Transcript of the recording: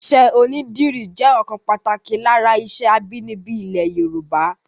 Iṣẹ́ onídìrí jẹ́ ọ̀kan pàtàkì lára iṣẹ́ abínibí ilẹ̀ Yorùbá